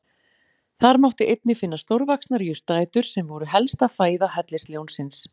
Þar mátti einnig finna stórvaxnar jurtaætur sem voru helsta fæða hellisljónsins.